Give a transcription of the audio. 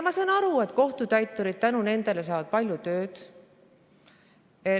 Ma saan aru, et kohtutäiturid saavad tänu nendele palju tööd.